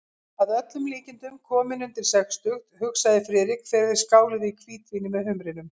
Að öllum líkindum kominn undir sextugt, hugsaði Friðrik, þegar þeir skáluðu í hvítvíni með humrinum.